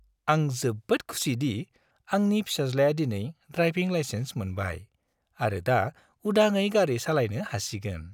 आं जोबोद खुसि दि आंनि फिसाज्लाया दिनै ड्राइभिं लाइसेन्स मोनबाय आरो दा उदाङै गारि सालायनो हासिगोन।